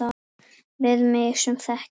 Við mig sem þekki þig.